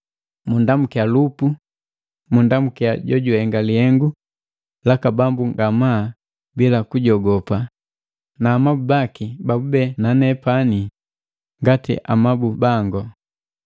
Munndamukia Lupu, mundu jojuhenga lihengu laka Bambu ngamaa bila kujogopa, na amabu baki babube na nepani ngati amabu bangu.